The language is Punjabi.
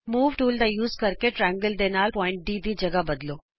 ਮੂਵ ਟੂਲ ਦਾ ਇਸਤੇਮਾਲ ਕਰਕੇ ਤ੍ਰਿਕੋਣ ਦੇ ਨਾਲ ਬਿੰਦੂ D ਦੀ ਥਾਂ ਬਦਲੋ